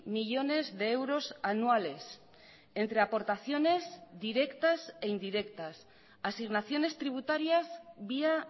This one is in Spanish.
millónes de euros anuales entre aportaciones directas e indirectas asignaciones tributarias vía